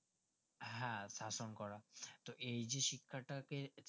হ্যাঁ শাসন করা তো এই যে শিক্ষাটাকে